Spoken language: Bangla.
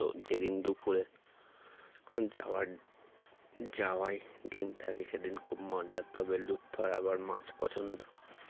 তো যেদিন দুপুরে যখন যাওয়ার যাওয়াই ডিম থাকে সেদিন খুব মজা তবে লুৎফার আবার মাছ পছন্দ